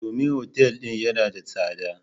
Domin otal din yana da tsada.